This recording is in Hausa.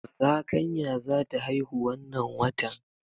Zakanya zata haihu wanna watan